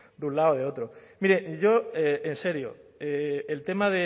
de un lado o de otro mire yo en serio el tema